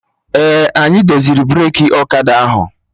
Ee, anyị doziri breki ọkada ahụ